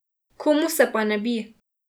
Komu se pa ne bi?